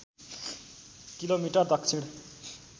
kilometre दक्षिण